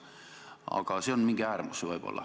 Aga see on võib-olla mingi äärmus.